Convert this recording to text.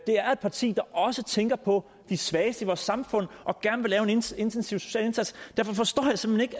parti der også tænker på de svageste i vores samfund og gerne vil gøre en intensiv social indsats derfor forstår jeg simpelt